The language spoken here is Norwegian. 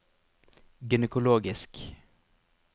gynekologisk